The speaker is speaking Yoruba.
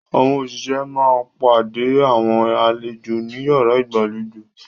Àwọn òṣìṣẹ́ máa pàdé àwọn àlejò ní yàrá ìgbàlejò.